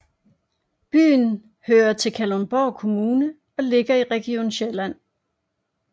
Byen hører til Kalundborg Kommune og ligger i Region Sjælland